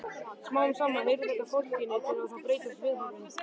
Smám saman heyrir þetta fortíðinni til og þá breytast viðhorfin.